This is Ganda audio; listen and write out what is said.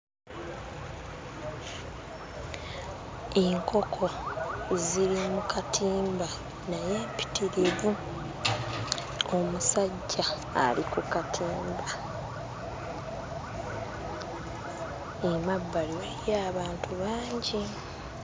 Enkoko ziri mu katimba naye mpitirivu. Omusajja ali ku katimba. Emabbali waliyo abantu bangi.